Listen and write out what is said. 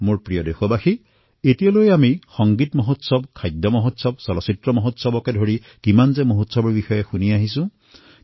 মোৰ মৰমৰ দেশবাসীসকল আজি পৰ্যন্ত আমি সংগীত উৎসৱ খাদ্য উৎসৱ চলচ্চিত্ৰ উৎসৱ আদি বিভিন্ন প্ৰকাৰৰ উৎসৱ কথা শুনি আহিছোঁ